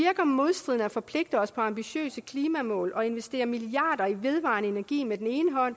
forpligter os på ambitiøse klimamål og investerer milliarder i vedvarende energi med den